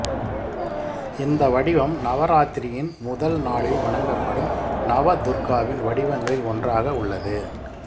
இந்த வடிவம் நவராத்திரியின் முதல் நாளில் வணங்கப்படும் நவதுர்காவின் வடிவங்களில் ஒன்றாக உள்ளது